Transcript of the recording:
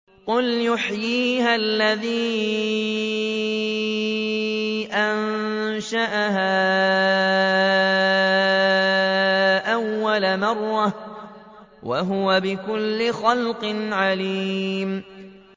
قُلْ يُحْيِيهَا الَّذِي أَنشَأَهَا أَوَّلَ مَرَّةٍ ۖ وَهُوَ بِكُلِّ خَلْقٍ عَلِيمٌ